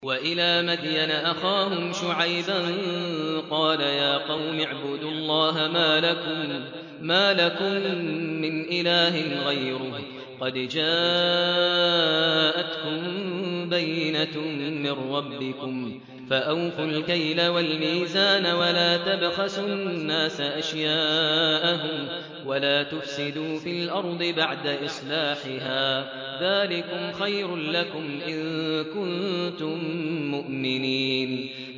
وَإِلَىٰ مَدْيَنَ أَخَاهُمْ شُعَيْبًا ۗ قَالَ يَا قَوْمِ اعْبُدُوا اللَّهَ مَا لَكُم مِّنْ إِلَٰهٍ غَيْرُهُ ۖ قَدْ جَاءَتْكُم بَيِّنَةٌ مِّن رَّبِّكُمْ ۖ فَأَوْفُوا الْكَيْلَ وَالْمِيزَانَ وَلَا تَبْخَسُوا النَّاسَ أَشْيَاءَهُمْ وَلَا تُفْسِدُوا فِي الْأَرْضِ بَعْدَ إِصْلَاحِهَا ۚ ذَٰلِكُمْ خَيْرٌ لَّكُمْ إِن كُنتُم مُّؤْمِنِينَ